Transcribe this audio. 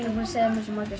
svo margar